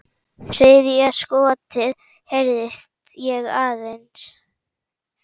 Þriðja skotið heyrði ég aðeins.